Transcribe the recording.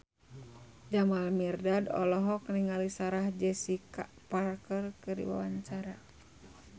Jamal Mirdad olohok ningali Sarah Jessica Parker keur diwawancara